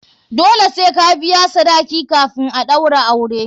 Dole sai ka biya sadaki kafin a ɗaura aure.